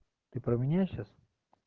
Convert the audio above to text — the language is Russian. ты про меня сейчас